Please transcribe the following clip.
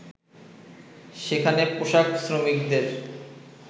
সেখানে পোশাক শ্রমিকদের